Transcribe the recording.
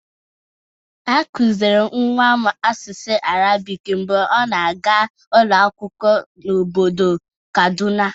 A kụzịrị nwa m asụsụ arabik mgbe ọ na-aga ụlọakwụkwọ n'obodo kaduna.